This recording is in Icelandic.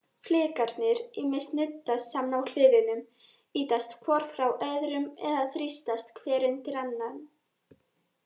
Flekarnir ýmist nuddast saman á hliðunum, ýtast hvor frá öðrum, eða þrýstast hver undir annan.